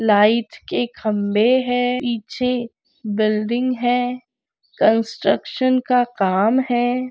Light के खंबे है पीछे बिल्डिंग है कंस्ट्रक्शन का काम है।